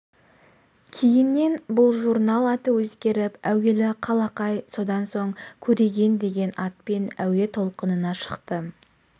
кейіннен бұл журнал аты өзгеріп әуелі қалақай содан соң көреген деген атпен әуе толқынына шықты